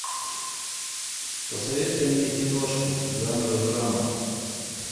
посоветуй мне киношку жанра драма